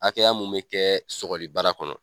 A hakɛya mun bɛ kɛ sɔgɔli bara kɔnɔ.